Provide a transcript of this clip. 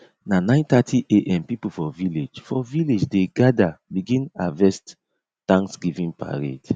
na nine thirty am people for village for village dey gada begin harvest thanksgiving parade